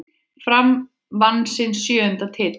Fram vann sinn sjöunda titil.